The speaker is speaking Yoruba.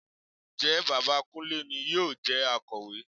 Ǹjẹ́ bàbá Kúnlé ni yóò jẹ Akọ̀wé?